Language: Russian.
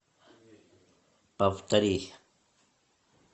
повтори